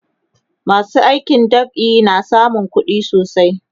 masu aikin dab'i na samun kuɗi sosai